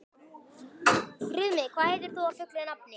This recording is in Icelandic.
Friðmey, hvað heitir þú fullu nafni?